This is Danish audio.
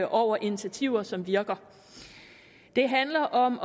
over initiativer som virker det handler om